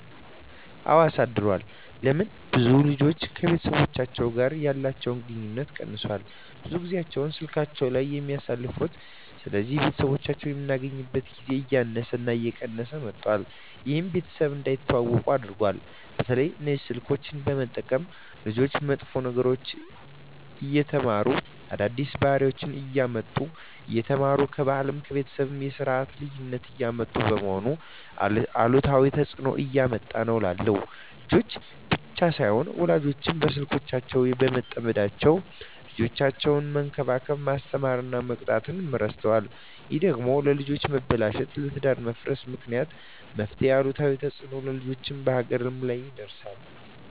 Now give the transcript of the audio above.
አወ አሳድሯል ለምን ብዙ ልጆች ከቤተሰቦቻቸው ጋር ያለቸዉ ግንኙነት ቀነሷል ብዙ ጊያቸዉን ስላካቸዉ ላይ ነዉ የሚያሳልፉት ስለዚህ ቤተሰቦች የሚገናኙበት ጊዜ እያነሰ እየቀነሰ መጧት ይሄም ቤተሰብ እንዳይተዋወቁ አድርጓቸዋል። በተለይ እነዚህ ስልኮችን በመጠቀም ልጆች መጥፎ ነገሮችን እየተማሩ አዳዲስ ባህሪወችነሰ እያመጡ እየተማሩ ከባህልም ከቤተሰብም የስርት ልዩነት እያመጡ በመሆኑ አሉታዊ ተጽእኖ እያመጣ ነዉ እላለሁ። ልጆች ብቻም ሳይሆኑ ወላጆችም በስልኮች በመጠመዳቸዉ ልጆቻቸዉነሰ መንከባከብ፣ መስተማር እና መቅጣት እረስተዋል ይሄ ደግሞ ለልጆች መበላሸት ለትዳር መፍረስ ምክንያት በመሄን አሉታዊ ተጽእኖ በልጆችም በሀገርም ላይ ያደርሳል።